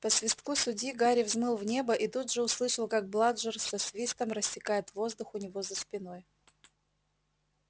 по свистку судьи гарри взмыл в небо и тут же услышал как бладжер со свистом рассекает воздух у него за спиной